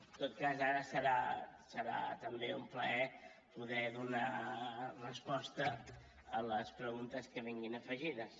en tot cas ara serà també un plaer poder donar resposta a les preguntes que vinguin afegides